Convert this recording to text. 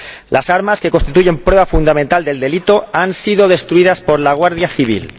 Las armas, que constituyen prueba fundamental del delito, han sido destruidas por la Guardia Civil.